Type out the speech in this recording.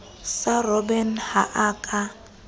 sa robben ha a ka